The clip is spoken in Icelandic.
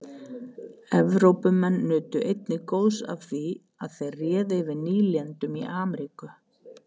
Evrópumenn nutu einnig góðs af því að þeir réðu yfir nýlendum í Ameríku.